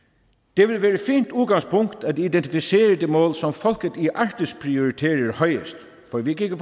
det vil være et fint udgangspunkt at identificere de mål som folket i arktis prioriterer højest for vi kan ikke